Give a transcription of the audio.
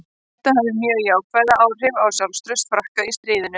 Þetta hafði mjög jákvæð áhrif á sjálfstraust Frakka í stríðinu.